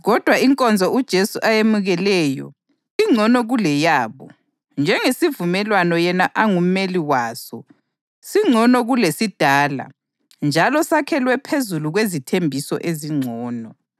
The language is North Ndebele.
Kodwa inkonzo uJesu ayemukeleyo ingcono kuleyabo njengesivumelwano yena angumeli waso singcono kulesidala njalo sakhelwe phezu kwezithembiso ezingcono.